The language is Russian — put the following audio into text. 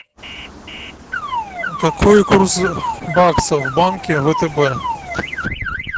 какой курс бакса в банке втб